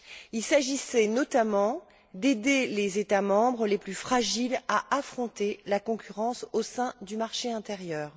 Il s'agissait notamment d'aider les États membres les plus fragiles à affronter la concurrence au sein du marché intérieur.